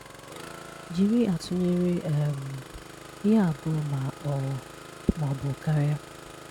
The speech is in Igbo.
Jiri atụnyere um ihe abụọ ma ọ ma ọ bụ karịa.